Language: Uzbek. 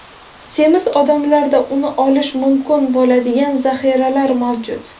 Semiz odamlarda uni olish mumkin bo‘ladigan zaxiralar mavjud.